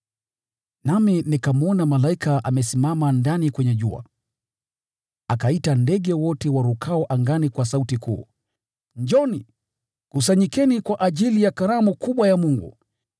Nami nikamwona malaika amesimama ndani kwenye jua, akaita ndege wote warukao angani kwa sauti kuu, “Njooni, kusanyikeni kwa ajili ya karamu kubwa ya Mungu,